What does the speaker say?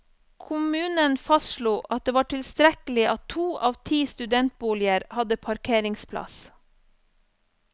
Kommunen fastslo at det var tilstrekkelig at to av ti studentboliger hadde parkeringsplass.